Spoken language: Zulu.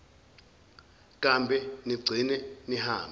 kambe nigcine nihambe